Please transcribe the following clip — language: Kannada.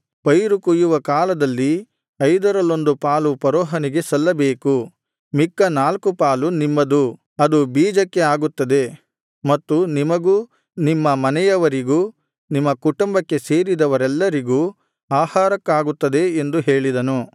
ಪೈರು ಕೊಯ್ಯುವ ಕಾಲದಲ್ಲಿ ಐದರಲ್ಲೊಂದು ಪಾಲು ಫರೋಹನಿಗೆ ಸಲ್ಲಬೇಕು ಮಿಕ್ಕ ನಾಲ್ಕು ಪಾಲು ನಿಮ್ಮದು ಅದು ಬೀಜಕ್ಕೆ ಆಗುತ್ತದೆ ಮತ್ತು ನಿಮಗೂ ನಿಮ್ಮ ಮನೆಯವರಿಗೂ ನಿಮ್ಮ ಕುಟುಂಬಕ್ಕೆ ಸೇರಿದವರೆಲ್ಲರಿಗೂ ಆಹಾರಕ್ಕಾಗುತ್ತದೆ ಎಂದು ಹೇಳಿದನು